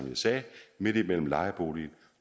midt imellem lejeboligen